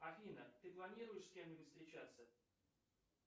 афина ты планируешь с кем нибудь встречаться